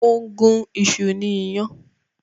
Ó ń gún iṣu ní iyàn